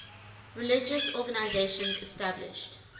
religious organizations established